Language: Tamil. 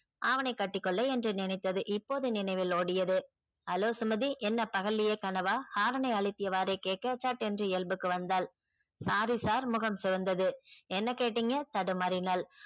அவனை கட்டிக்கொள்ள என்று நினைத்தது இப்போது நினைவில் ஓடியது hello சுமதி என்ன பகல்லையே கனவா horn னை அழுத்தியவாறே கேட்க சட்டென்று இயல்புக்கு வந்தாள் sorry sir முகம் சிவந்தது என்ன கேட்டீங்க தடுமாறினாள்